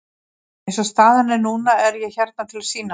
Eins og staðan er núna er ég hérna til að sýna mig.